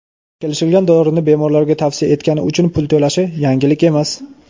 kelishilgan dorini bemorlarga tavsiya etgani uchun pul to‘lashi – yangilik emas.